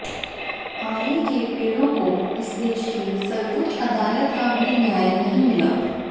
आरे के पेड़ों को इस देश की सर्वोच्च अदालत का भी न्याय नहीं मिला